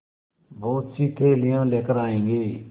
बहुतसी थैलियाँ लेकर आएँगे